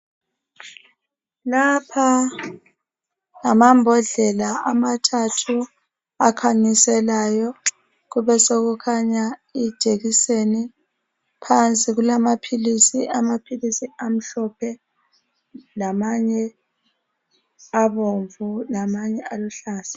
Lapha angamambodlela amathathu akhanyiselayo kube sokukhanya ijekiseni phansi kulamapills amhlophe lamanye abomvu lamanye aluhlaza